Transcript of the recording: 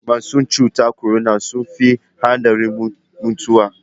Masu cutar korona sun fi haɗarin mutuwa.